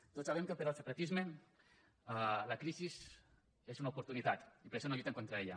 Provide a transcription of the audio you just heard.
tots sabem que per al separatisme la crisi és una oportunitat i per això no lluiten contra ella